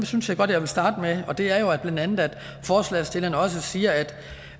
synes jeg godt jeg vil starte med det er jo blandt andet at forslagsstillerne også siger at